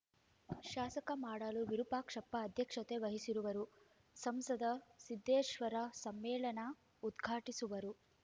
ಶಾಸಕ ಮಾಡಾಳು ವಿರೂಪಾಕ್ಷಪ್ಪ ಅಧ್ಯಕ್ಷತೆ ವಹಿಸುವರು ಸಂಸದ ಸಿದ್ದೇಶ್ವರ್‌ ಸಮ್ಮೇಳನ ಉದ್ಘಾಟಿಸುವರು